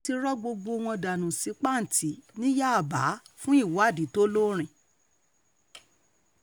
wọ́n ti rọ gbogbo wọn dà sí pàǹtí ní yábà fún ìwádìí tó lóòrín